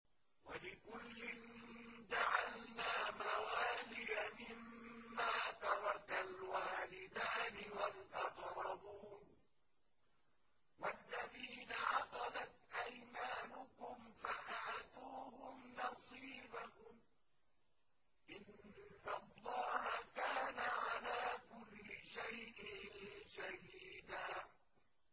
وَلِكُلٍّ جَعَلْنَا مَوَالِيَ مِمَّا تَرَكَ الْوَالِدَانِ وَالْأَقْرَبُونَ ۚ وَالَّذِينَ عَقَدَتْ أَيْمَانُكُمْ فَآتُوهُمْ نَصِيبَهُمْ ۚ إِنَّ اللَّهَ كَانَ عَلَىٰ كُلِّ شَيْءٍ شَهِيدًا